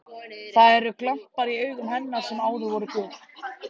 Það eru glampar í augum hennar sem áður voru gul.